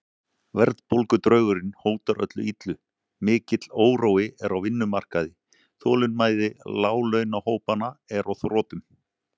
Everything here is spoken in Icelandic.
Verðbólgudraugurinn hótar öllu illu, mikill órói er á vinnumarkaði, þolinmæði láglaunahópanna er á þrotum.